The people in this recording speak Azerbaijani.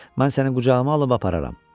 Mən səni qucağıma alıb apararam.